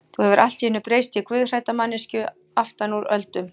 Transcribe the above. Þú hefur allt í einu breyst í guðhrædda manneskju aftan úr öldum.